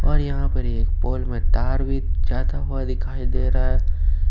और यहां पर एक पोल में तार भी जाता हुआ दिखाई दे रहा है।